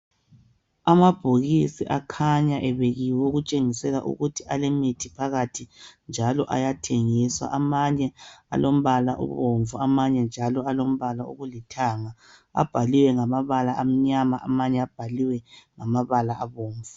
Amabhokisi akhanya ebekiwe okutshengisa ukuthi alemithi phakathi njalo ayathengiswa. Amanye alombala obomvu amanye njalo alombala olithanga. Abhaliwe ngamabala amnyama amanye abhaliwe ngamabala abomvu.